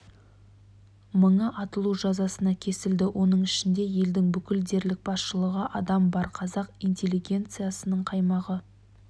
мыңы атылу жазасына кесілді оның ішінде елдің бүкіл дерлік басшылығы адам бар қазақ интеллигенциясының қаймағы